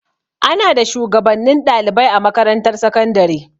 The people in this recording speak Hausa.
Ana da shuwagabannin ɗalibai a makarantar sakandare.